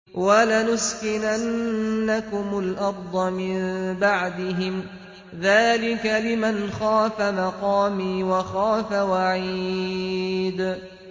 وَلَنُسْكِنَنَّكُمُ الْأَرْضَ مِن بَعْدِهِمْ ۚ ذَٰلِكَ لِمَنْ خَافَ مَقَامِي وَخَافَ وَعِيدِ